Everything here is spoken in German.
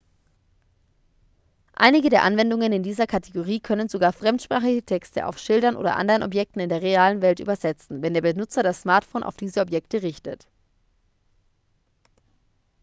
einige der anwendungen in dieser kategorie können sogar fremdsprachige texte auf schildern oder anderen objekten in der realen welt übersetzen wenn der benutzer das smartphone auf diese objekte richtet